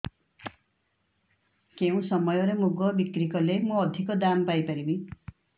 କେଉଁ ସମୟରେ ମୁଗ ବିକ୍ରି କଲେ ମୁଁ ଅଧିକ ଦାମ୍ ପାଇ ପାରିବି